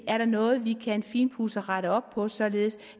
er noget vi kan finpudse og rette op på således